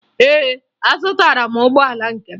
Ee, azụtara m ụgbọala nke m